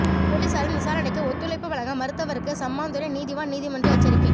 பொலிஸாரின் விசாரணைக்கு ஒத்துழைப்பு வழங்க மறுத்தவருக்கு சம்மாந்துறை நீதிவான் நீதிமன்று எச்சரிக்கை